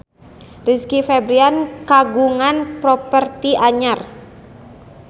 Rizky Febian kagungan properti anyar